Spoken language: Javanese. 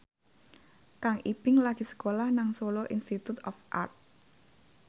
Kang Ibing lagi sekolah nang Solo Institute of Art